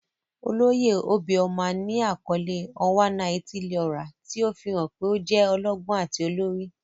Oloye obioma ni akọle "Onwa-na-etili-ora," ti o fihan pe o jẹ ọlọgbọn ati olori.